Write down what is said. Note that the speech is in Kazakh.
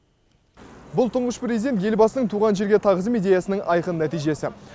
бұл тұңғыш президент елбасының туған жерге тағзым идеясының айқын нәтижесі